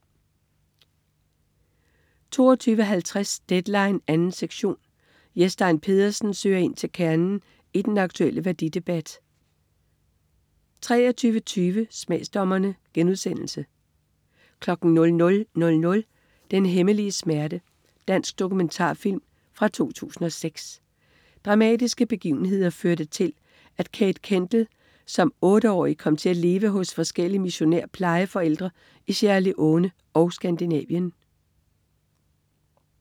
22.50 Deadline 2. sektion. Jes Stein Pedersen søger ind til kernen i den aktulle værdidebat 23.20 Smagsdommerne* 00.00 Den hemmelige smerte. Dansk dokumentarfilm fra 2006. Dramatiske begivenheder førte til, at Kate Kendel som otteårig kom til at leve hos forskellige missionær-plejeforældre i Sierra Leone og Skandinavien